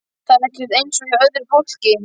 Það er ekkert eins og hjá öðru fólki.